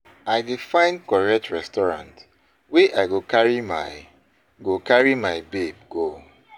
I dey find correct restaurant wey I go carry my go carry my babe go.